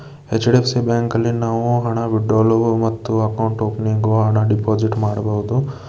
H- D- F- C bank ಅಲ್ಲಿ ನಾವು ಹಣ ವಿತ್ ಡ್ರಾವಲ್ ಮತ್ತು ಅಕೌಂಟ್ ಓಪನಿಂಗ್ ಹಣ ಡೆಪಾಸಿಟ್ ಮಾಡಬಹುದು.